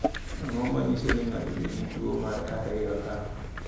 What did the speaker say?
Ang’o ma nyiso ni ng’ato nigi tuwo mar 2H?